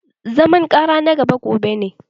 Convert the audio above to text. Zaman ƙara na na gaba gobe ne